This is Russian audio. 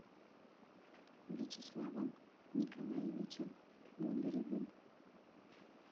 вячеславом николаевичем бондаревым